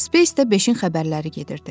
Space-də beşi xəbərləri gedirdi.